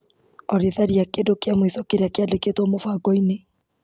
Olĩ tharia kĩndũ kĩa mũico kĩrĩa kĩandĩkĩtwo mũbango-inĩ .